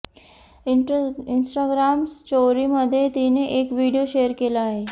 Instagram स्टोरीमध्ये तिने एक व्हिडिओ शेअर केला आहे